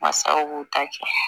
Masaw b'u ta kɛ